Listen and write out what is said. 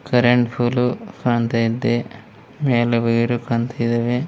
Current pole ಕಾಣ್ತಾ ಇದೆ ಮೇಲೆ ವೈರು ಕಾಣ್ತಾ ಇದೆ.